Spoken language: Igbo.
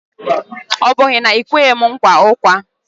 Ọ bụ na ị kweghi m nkwa ụkwa?